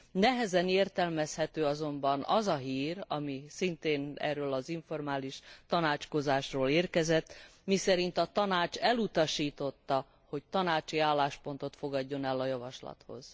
Nehezen értelmezhető azonban az a hír, ami szintén erről az informális tanácskozásról érkezett, miszerint a Tanács elutasította, hogy tanácsi álláspontot fogadjon el a javaslathoz.